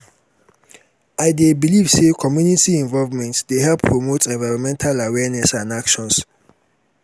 i dey believe say community involvement dey help promote envirnmental awareness and actions.